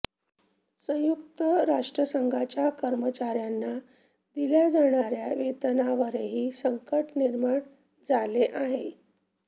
संयुक्त राष्ट्रसंघाच्या कर्मचाऱयांना दिल्या जाणाऱया वेतनावरही संकट निर्माण झाले आहे